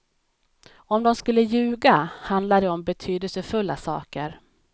Om de skulle ljuga, handlar det om betydelsefulla saker.